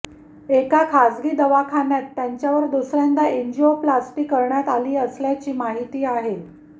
एका खाजगी दवाखान्यात त्यांच्यावर दुसऱ्यांदा अॅंजिओप्लास्टी करण्यात आली असल्याची माहिती आहे